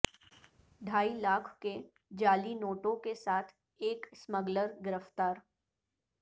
ڈھائی لاکھ کے جعلی نوٹوں کے ساتھ ایک اسمگلر گرفتار